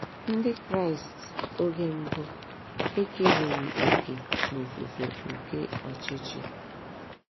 Ndị Kraịst oge mbụ ekereghị òkè n'ofufe nke Ọchịchị.